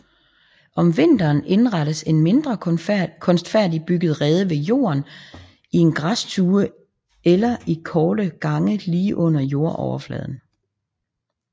Om vinteren indrettes en mindre kunstfærdigt bygget rede ved jorden i en græstue eller i korte gange lige under jordoverfladen